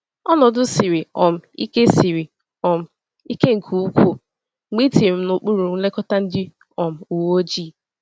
Ọnọdụ siri um ike siri um ike nke ukwuu mgbe etinyere m n’okpuru nlekọta ndị um uweojii.